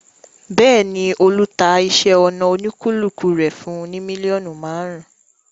Bẹ́ẹ̀ ni, Olú ta iṣẹ́-ọnà oníkíkùn rẹ̀ fún mílíọ̀nù márùn-ún.